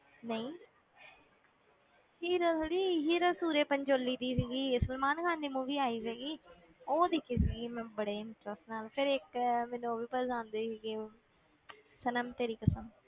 ਨਹੀਂ hero ਥੋੜ੍ਹੀ hero Surya Pancholi ਦੀ ਸੀਗੀ ਇਹ ਸਲਮਾਨ ਖ਼ਾਨ ਦੀ movie ਆਈ ਸੀਗੀ ਉਹ ਦੇਖੀ ਸੀਗੀ ਮੈਂ ਬੜੇ interest ਨਾਲ, ਫਿਰ ਇੱਕ ਮੈਨੂੰ ਉਹ ਵੀ ਪਸੰਦ ਸੀਗੀ ਸਨਮ ਤੇਰੀ ਕਸਮ